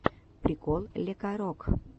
прикол лекарок